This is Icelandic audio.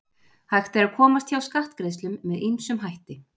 Hægt er að komast hjá skattgreiðslum með ýmsum hætti.